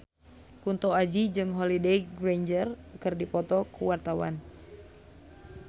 Kunto Aji jeung Holliday Grainger keur dipoto ku wartawan